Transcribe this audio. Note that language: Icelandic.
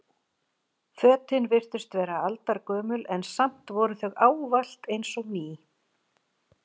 Fötin virtust vera aldargömul en samt voru þau ávallt eins og ný.